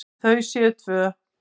Þau séu tvö.